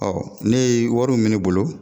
ne ye wari mun bɛ ne bolo.